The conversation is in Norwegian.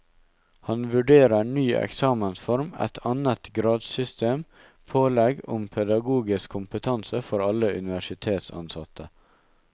Han vurderer ny eksamensform, et annet gradssystem og pålegg om pedagogisk kompetanse for alle universitetsansatte.